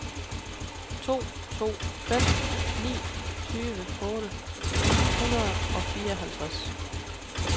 to to fem ni tyve otte hundrede og fireoghalvtreds